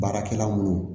Baarakɛla minnu